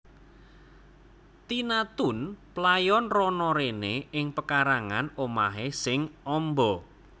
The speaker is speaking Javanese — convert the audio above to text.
Tina Toon playon rono rene ing pekarangan omahe sing amba